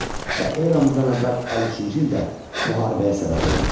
Və eramızdan əvvəl 53-cü ildə müharibəyə səbəb oldu.